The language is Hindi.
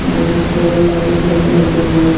बहुत सारा लाइट लगा हुआ है।